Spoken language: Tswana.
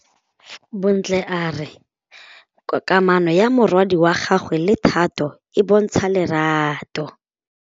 Bontle a re kamanô ya morwadi wa gagwe le Thato e bontsha lerato.